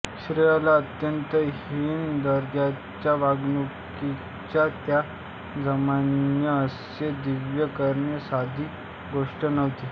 स्त्रीला अत्यंत हीन दर्जाच्या वागणुकीच्या त्या जमान्यात असे दिव्य करणे साधी गोष्ट नव्हती